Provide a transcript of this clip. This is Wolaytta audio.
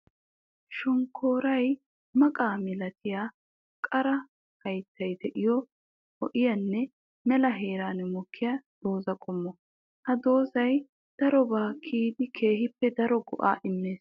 Shonkkoroy maqqa milattiya qara hayttay de'iyo ho'iyanne mela heeran mokkiya dooza qommo. Ha doozay darobba kiyiddi keehippe daro go'a immees.